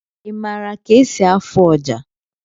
Ị mara ka-esi afụ ọjà?